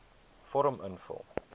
vorm invul